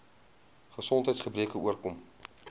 gesondheids gebreke oorkom